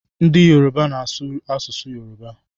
Ndị Yoruba na-asụ asụsụ Yoruba